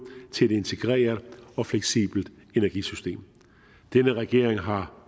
til et integreret og fleksibelt energisystem denne regering har